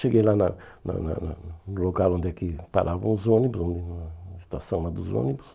Cheguei lá na na na no local onde é que paravam os ônibus, na estação lá dos ônibus.